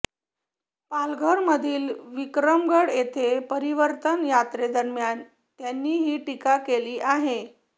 पालघरमधील विक्रमगड येथे परिवर्तन यात्रेदरम्यान त्यांनी ही टीका केली आहे